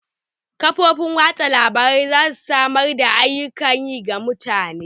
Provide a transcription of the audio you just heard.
Kafofin watsa labarai za su samar da ayyukan yi ga mutane.